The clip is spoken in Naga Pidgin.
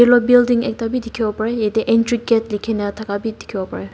yellow building ekta b dikibo parae yete entry gate likina daka b dikibo parae.